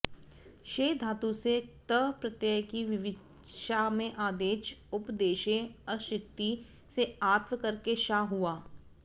क्षै धातु से क्त प्रत्यय की विवक्षा में आदेच उपदेशेऽशिति से आत्व करके क्षा हुआ